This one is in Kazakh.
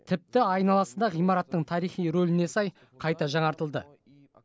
тіпті айналасы да ғимараттың тарихи рөліне сай қайта жаңартылды